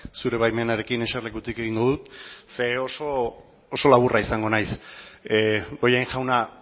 zure baimenarekin eserlekutik egingo dut oso laburra izango naiz bollain jauna